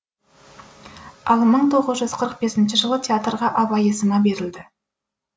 ал мың тоғыз жүз қырық бесінші жылы театрға абай есімі берілді